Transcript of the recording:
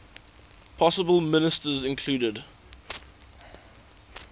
possible ministers included